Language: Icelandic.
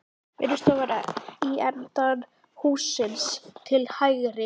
Vinnustofan í enda hússins til hægri.